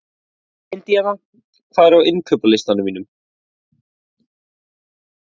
Indíana, hvað er á innkaupalistanum mínum?